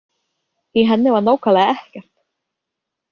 Í henni var nákvæmlega ekkert.